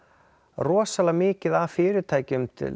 rosalega mikið af fyrirtækjum til